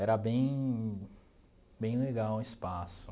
Era bem bem legal o espaço.